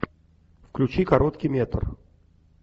включи короткий метр